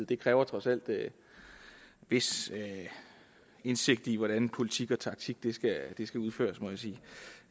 det kræver trods alt en vis indsigt i hvordan politik og taktik skal udføres må jeg sige